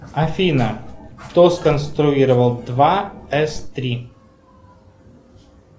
афина кто сконструировал два с три